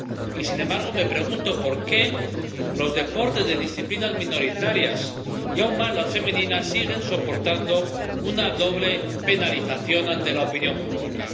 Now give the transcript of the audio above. y, sin embargo, me pregunto por qué los deportes de disciplinas minoritarias, y aún más las femeninas, siguen soportando una doble penalización ante la opinión pública.